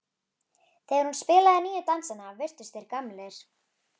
Þegar hún spilaði nýju dansana virtust þeir gamlir.